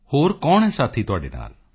ਹੋਰ ਕੌਣ ਹੈ ਸਾਥੀ ਤੁਹਾਡੇ ਨਾਲ